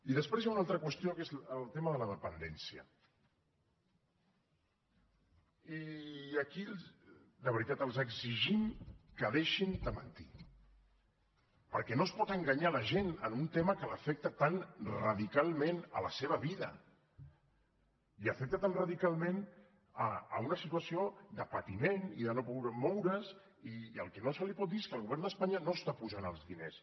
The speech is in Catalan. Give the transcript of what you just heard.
i després hi ha una altra qüestió que és el tema de la dependència i aquí de veritat els exigim que deixin de mentir perquè no es pot enganyar la gent en un tema que l’afecta tan radicalment a la seva vida i afecta tan radicalment una situació de patiment i de no poder moure’s i el que no se li pot dir és que el govern d’espanya no està posant els diners